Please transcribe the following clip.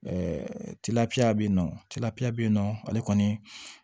tigafiya be yen nɔ tilafiya beyi nɔ ale kɔni